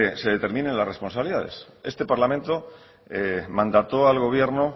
se determine las responsabilidades este parlamento mandató al gobierno